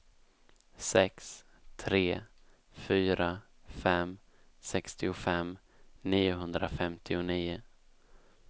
sex tre fyra fem sextiofem niohundrafemtionio